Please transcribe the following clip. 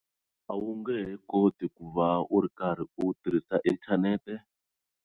A wu nge he koti ku va u ri karhi u tirhisa inthanete.